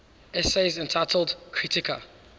essays entitled kritika